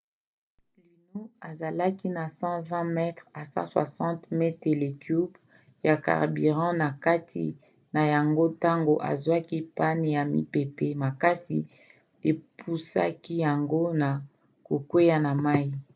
luno azalaki na 120–160 metele cubes ya carburant na kati na yango ntango ezwaki panne pe mipepe makasi epusaki yango na kokwea na mai